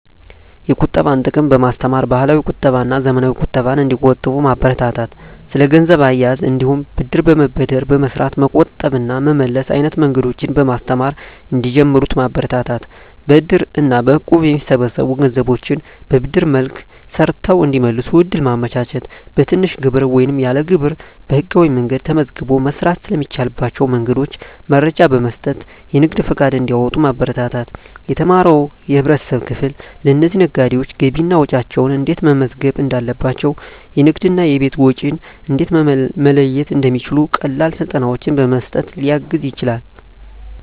የቁጠባን ጥቅም በማስተማር፣ ባህላዊ ቁጠባና ዘመናዊ ቁጠባን እንዲቆጥቡ ማበረታታት። ስለ ገንዘብ አያያዝ እንዲሁም ብድር በመበደር በመስራት መቆጠብ እና መመለስ አይነት መንገዶችን በማስተማር እንዲጀምሩት ማበረታታት። በእድር እና በእቁብ የሚሰበሰቡ ገንዘቦችን በብድር መልክ ሰርተው እንዲመልሱ እድል ማመቻቸት። በትንሽ ግብር ወይም ያለ ግብር በህጋዊ መንገድ ተመዝግቦ መስራት ስለሚቻልባቸው መንገዶች መረጃ በመስጠት የንግድ ፈቃድ እንዲያወጡ ማበረታታት። የተማረው የህብረተሰብ ክፍል ለእነዚህ ነጋዴዎች ገቢና ወጪያቸውን እንዴት መመዝገብ እንዳለባቸው፣ የንግድና የቤት ወጪን እንዴት መለየት እንደሚችሉ ቀላል ስልጠናዎችን በመስጠት ሊያግዝ ይችላል።